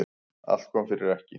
Allt kom fyrir ekki.